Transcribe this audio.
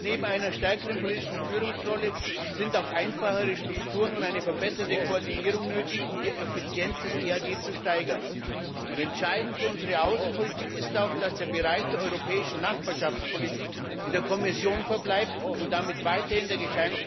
Neben einer stärkeren politischen Führungsrolle sind auch einfachere Strukturen und eine verbesserte Koordinierung nötig, um die Effizienz des EAD zu steigern. Entscheidend für unsere Außenpolitik ist auch, dass der Bereich der europäischen Nachbarschaftspolitik in der Kommission verbleibt und damit weiterhin der